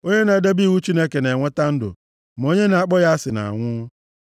Onye na-edebe iwu Chineke na-enweta ndụ, ma onye na-akpọ ya asị na-anwụ.